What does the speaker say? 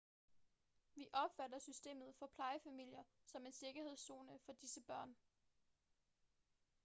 vi opfatter systemet for plejefamilier som en sikkerhedszone for disse børn